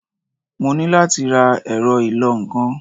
Mo ní láti ra ẹ̀rọ ìlọ-nǹkan.